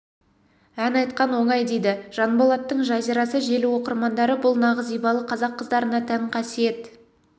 ән айтқан оңай дейді жанболаттың жазирасы желі оқырмандары бұл нағыз ибалы қазақ қыздарына тән қасиет